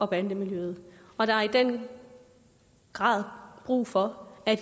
bande miljøet og der er i den grad brug for at